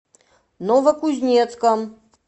новокузнецком